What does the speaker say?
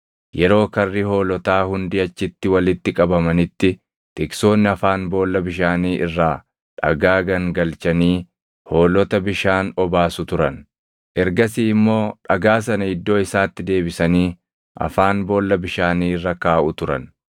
Yeroo karri hoolotaa hundi achitti walitti qabamanitti tiksoonni afaan boolla bishaanii irraa dhagaa gangalchanii hoolota bishaan obaasu turan. Ergasii immoo dhagaa sana iddoo isaatti deebisanii afaan boolla bishaanii irra kaaʼu turan.